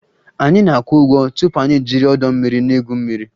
Anyị na-akwụ ụgwọ tupu anyị ejiri ọdọ mmiri na-egwu mmiri